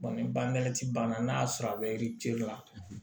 ni banki banna n'a y'a sɔrɔ a bɛ la